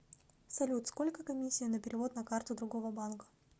салют сколько комиссия на перевод на карту другого банка